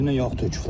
Dibinə yağ töküblər.